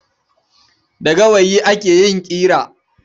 Da gawayi ake yin ƙira.